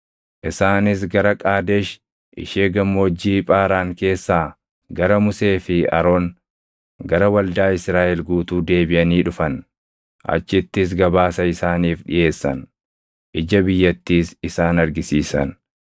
Isaanis gara Qaadesh ishee Gammoojjii Phaaraan keessaa gara Musee fi Aroon, gara waldaa Israaʼel guutuu deebiʼanii dhufan. Achittis gabaasa isaaniif dhiʼeessan; ija biyyattiis isaan argisiisan.